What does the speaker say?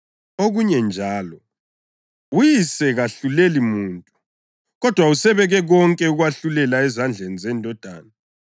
Okunye njalo, uYise kahluleli muntu, kodwa usebeke konke ukwahlulela ezandleni zeNdodana,